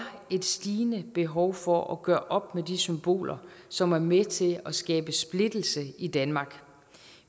et stigende behov for at gøre op med de symboler som er med til at skabe splittelse i danmark